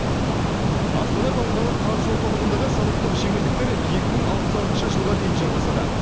астана халықаралық қаржы орталығындағы салықтық жеңілдіктер екі мың алпыс алтыншы жылға дейін жалғасады